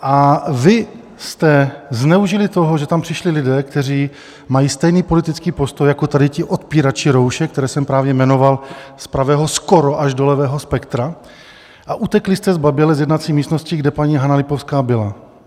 A vy jste zneužili toho, že tam přišli lidé, kteří mají stejný politický postoj jako tady ti odpírači roušek, které jsem právě jmenoval z pravého skoro až do levého spektra, a utekli jste zbaběle z jednací místnosti, kde paní Hana Lipovská byla.